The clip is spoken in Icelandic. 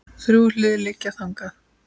Þrjú hlið liggja þangað inn.